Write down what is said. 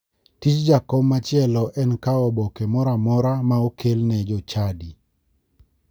Tij jakom machielo en kawo oboke moro amora ma okel ne jochadi.